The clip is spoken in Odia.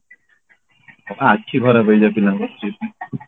ହଁ ବା ଆଖି ଖରାପ ହେଇଯାଏ ପିଲାଙ୍କର ସେଇଥିପାଇଁ